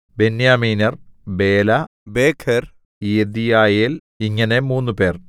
ബെന്യാമീന്യർ ബേല ബേഖെർ യെദീയയേൽ ഇങ്ങനെ മൂന്നുപേർ